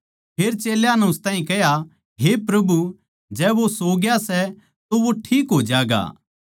फेर चेल्यां नै उस ताहीं कह्या हे प्रभु जै वो सो ग्या सै तो वो ठीक हो ज्यागा